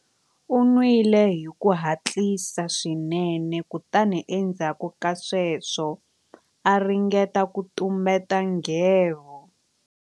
U nwile hi ku hatlisa swinene kutani endzhaku ka sweswo a ringeta ku tumbeta nghevo.